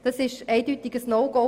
Das ist für uns ein klares No-Go.